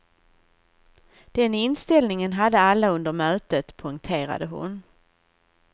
Den inställningen hade alla under mötet, poängterade hon.